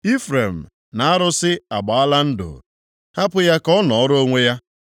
Ifrem na arụsị agbaala ndụ hapụ ya ka ọ nọọrọ onwe ya.